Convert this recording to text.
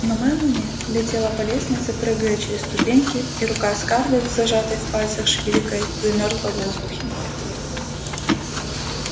но мелани летела по лестнице прыгая через ступеньки и рука скарлетт с зажатой в пальцах шпилькой замёрзла в воздухе